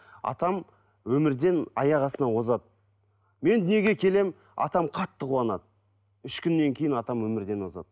атам өмірден аяқ астынан озады мен дүниеге келемін атам қатты қуанады үш күннен кейін атам өмірден озады